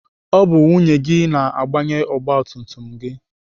Ọ bụ nwunye gị na-agbanye ọgbatumtum gị.